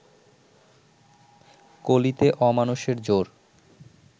কলিতে অমানুষের জোর